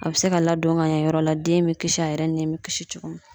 A bɛ se ka ladon ka ɲɛ yɔrɔ la den bɛ kisi a yɛrɛ ni bɛ kisi cogo min